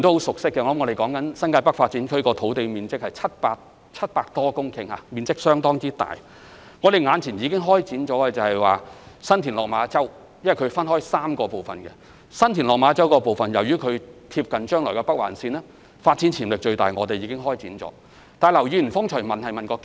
新界北發展涉及的發展土地面積多達700多公頃，面積相當大，並分為3個發展區，其中新田/落馬洲發展樞紐鄰近未來的北環綫，發展潛力最大，所以我們已經開展該發展區的相關研究。